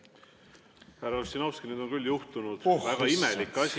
Härra Ossinovski, nüüd on küll juhtunud väga imelik asi.